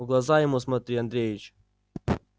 в глаза ему смотри андреич